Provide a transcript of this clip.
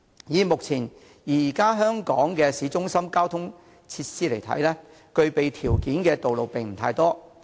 以目前在香港市中心的交通設施而言，具備條件的道路並不太多。